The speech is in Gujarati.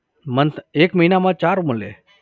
month એક મહીનામાં ચાર મલે?